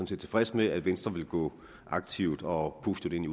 set tilfreds med at venstre vil gå aktivt og positivt ind